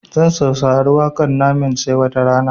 Zan saurari waƙar namenj ta 'sai watarana'